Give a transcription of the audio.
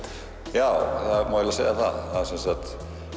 já það má eiginlega segja það